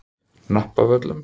Hnappavöllum